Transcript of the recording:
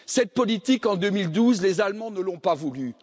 Cette politique, en 2012, les Allemands ne l'ont pas voulue.